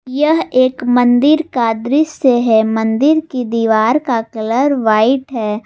यह एक मंदिर का दृश्य है मंदिर की दीवार का कलर व्हाइट है।